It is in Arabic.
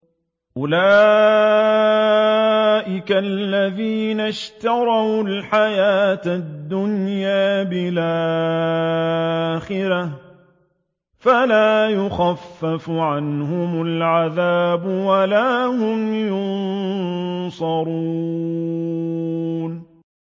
أُولَٰئِكَ الَّذِينَ اشْتَرَوُا الْحَيَاةَ الدُّنْيَا بِالْآخِرَةِ ۖ فَلَا يُخَفَّفُ عَنْهُمُ الْعَذَابُ وَلَا هُمْ يُنصَرُونَ